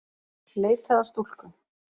Leitað að stúlku